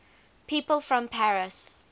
people from paris